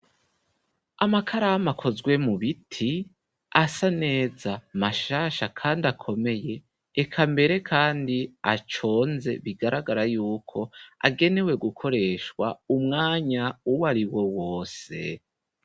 Amakaramu akozwe mubiti asa neza mashasha kandi akomeye eka mbere kandi aconze bigaragara yuko agenewe gukoreshwa umwanya uwari wo wose.